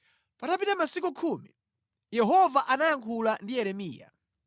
Patapita masiku khumi, Yehova anayankhula ndi Yeremiya.